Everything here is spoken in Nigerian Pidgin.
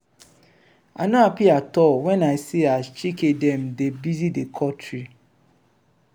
i no happy at all wen i see as chike dem dey busy dey cut tree.